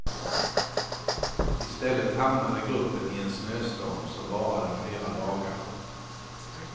Istället hamnade gruppen i en snöstorm som varade flera dagar.